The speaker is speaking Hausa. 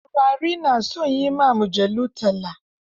Taurari na son yi wa mujallu talla.